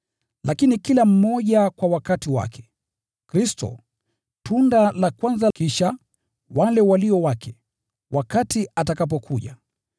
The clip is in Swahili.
Lakini kila mmoja kwa wakati wake: Kristo, tunda la kwanza kisha, wale walio wake, wakati atakapokuja.